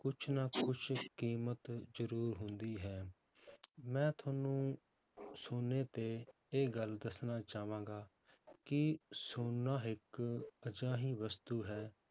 ਕੁਛ ਨਾ ਕੁਛ ਕੀਮਤ ਜ਼ਰੂਰ ਹੁੰਦੀ ਹੈ ਮੈਂ ਤੁਹਾਨੂੰ ਸੋਨੇ ਤੇ ਇਹ ਗੱਲ ਦੱਸਣਾ ਚਾਹਾਂਗਾ ਕਿ ਸੋਨਾ ਇੱਕ ਅਜਿਹੀ ਵਸਤੂ ਹੈ